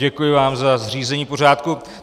Děkuji vám za zřízení pořádku.